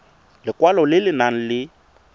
lekwalo le le nang le